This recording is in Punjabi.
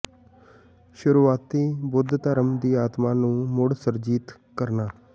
ਸ਼ੁਰੂਆਤੀ ਬੁੱਧ ਧਰਮ ਦੀ ਆਤਮਾ ਨੂੰ ਮੁੜ ਸੁਰਜੀਤ ਕਰਨਾ